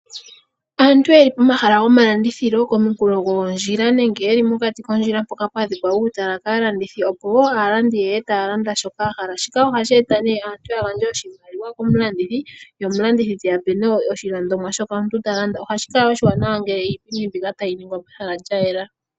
Aantu yeli pomahala gomalandithilo komunkulo gwondjila nenge ye li mokati kondjila mpoka pwa dhikwa uutala kaalandithi, opo aalandi ye ye ya lande shoka ya hala. Shika ohashi e ta nee aalandi ya gandje oshimaliwa komulandithi , ye omulandithi te ya pe oshilandomwa shoka taya landa. Ohashi kala oshiwanawa ngele iipindi mbika tayi ningilwa pehala lya yela.